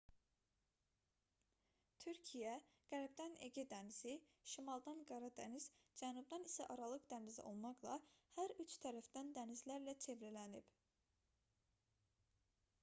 türkiyə qərbdən ege dənizi şimaldan qara dəniz cənubdan isə aralıq dənizi olmaqla hər üç tərəfdən dənizlərlə çevrələnib